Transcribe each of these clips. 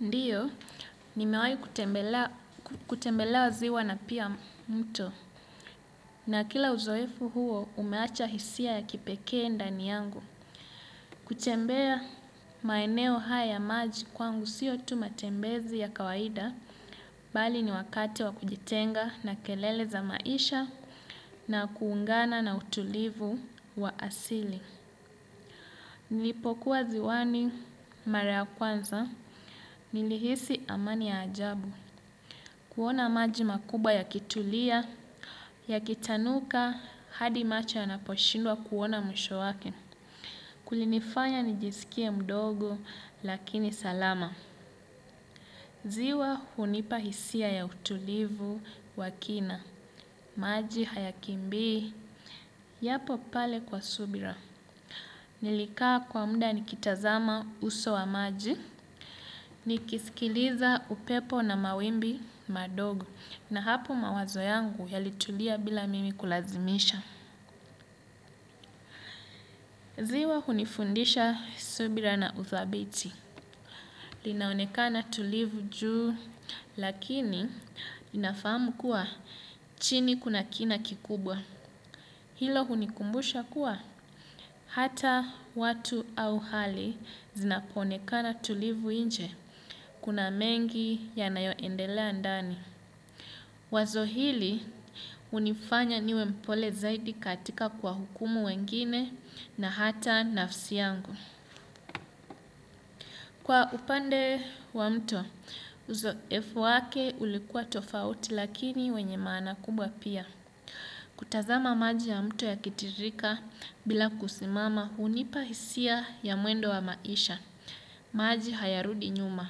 Ndiyo, nimewahi kutembelea ziwa na pia mto. Na kila uzoefu huo, umeacha hisia ya kipekee ndani yangu. Kutembea maeneo haya ya maji kwangu siyo tu matembezi ya kawaida. Bali ni wakati wa kujitenga na kelele za maisha na kuungana na utulivu wa asili. Nilipokuwa ziwani, mara ya kwanza, nilihisi amani ya ajabu. Kuona maji makubwa yakitulia, yakitanuka, hadi macho yanaposhindwa kuona mwisho wake. Kulinifanya nijisikie mdogo, lakini salama. Ziwa hunipa hisia ya utulivu wa kina, maji hayakimbii, yapo pale kwa subira. Nilikaa kwa mda nikitazama uso wa maji, nikisikiliza upepo na mawimbi madogo. Na hapo mawazo yangu yalitulia bila mimi kulazimisha. Ziwa hunifundisha subira na uthabiti. Linaonekana tulivu juu lakini ninafahamu kuwa chini kuna kina kikubwa. Hilo hunikumbusha kuwa hata watu au hali zinapoonekana tulivu inje. Kuna mengi yanayoendelea ndani. Wazo hili, hunifanya niwe mpole zaidi katika kuwahukumu wengine na hata nafsi yangu. Kwa upande wa mto, uzoefu wake ulikuwa tofauti lakini wenye maana kubwa pia. Kutazama maji ya mto yakitiririka bila kusimama hunipa hisia ya mwendo wa maisha. Maji hayarudi nyuma,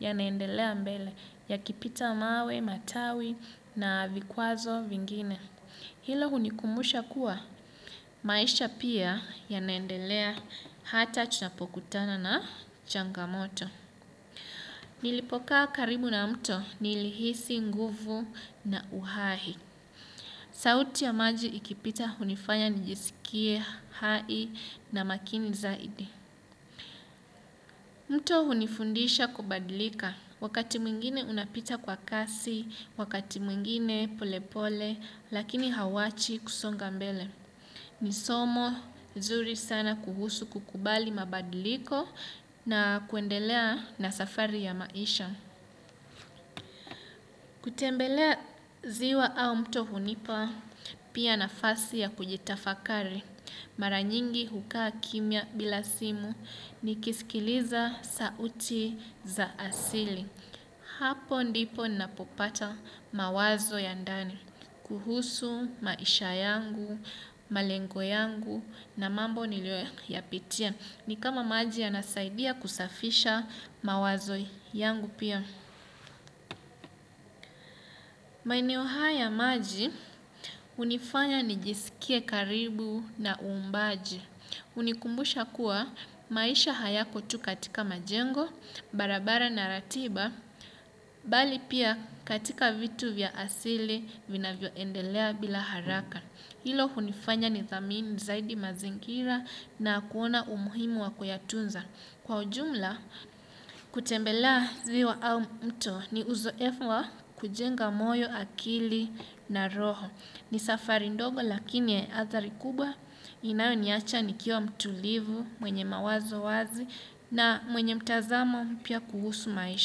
yanaendelea mbele yakipita mawe, matawi na vikwazo vingine. Hilo hunikumbusha kuwa, maisha pia yanaendelea hata tunapokutana na changamoto. Nilipokaa karibu na mto nilihisi nguvu na uhahi. Sauti ya maji ikipita hunifanya nijisikie hai na makini zaidi. Mto hunifundisha kubadilika. Wakati mwingine unapita kwa kasi, wakati mwingine pole pole, lakini hauwachi kusonga mbele. Ni somo nzuri sana kuhusu kukubali mabadiliko na kuendelea na safari ya maisha. Kutembelea ziwa au mto hunipa pia nafasi ya kujitafakari. Mara nyingi hukaa kimya bila simu nikisikiliza sauti za asili. Hapo ndipo napopata mawazo ya ndani. Kuhusu maisha yangu, malengo yangu na mambo niliyoyapitia. Ni kama maji yanasaidia kusafisha mawazo yangu pia. Maeneo haya ya maji, hunifanya nijisikie karibu na uumbaji. Hunikumbusha kuwa maisha hayako tu katika majengo, barabara na ratiba, bali pia katika vitu vya asili vinavyoendelea bila haraka. Hilo hunifanya nithamini zaidi mazingira na kuona umuhimu wa kuyatunza. Kwa ujumla kutembelea ziwa au mto ni uzoefu wa kujenga moyo, akili na roho. Ni safari ndogo lakini ya athari kubwa inayoniacha nikiwa mtulivu, mwenye mawazo wazi na mwenye mtazamo mpya kuhusu maisha.